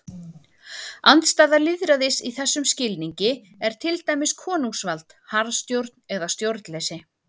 Andstæða lýðræðis í þessum skilningi er til dæmis konungsvald, harðstjórn eða stjórnleysi.